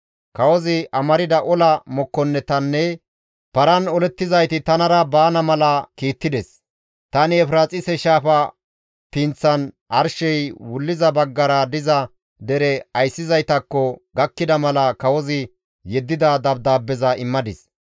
Kawozi amarda ola mokkonnetinne paran olettizayti tanara baana mala kiittides; tani Efiraaxise shaafa pinththan arshey wuliza baggara diza dere ayssizaytakko gakkida mala kawozi yeddida dabdaabbeza immadis.